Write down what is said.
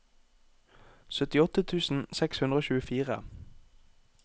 syttiåtte tusen seks hundre og tjuefire